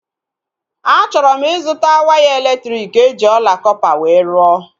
A chọrọ m ịzụta waya elektriki eji ọla kọpa wee rụọ